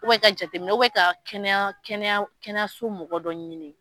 ka jateminɛ kɛ ka kɛnɛya kɛnɛya kɛnɛ so mɔgɔ dɔ ɲini.